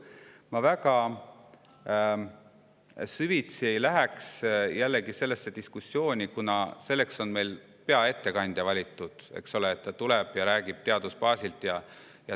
Ma väga süvitsi sellesse diskussiooni ei laskuks, kuna selleks on meil valitud peaettekandja, kes tuleb ja räägib teaduse seisukohast.